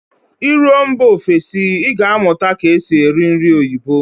Ị ruo mba ofesi, Ị ga amụta nke esi eri nri oyibo